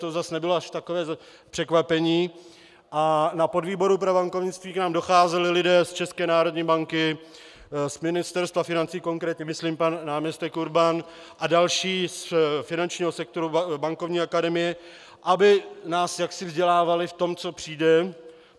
To zase nebylo až takové překvapení a na podvýbor pro bankovnictví k nám docházeli lidé z ČNB, z Ministerstva financí konkrétně myslím pan náměstek Urban, a další z finančního sektoru, Bankovní akademie, aby nás jaksi vzdělávali v tom, co přijde.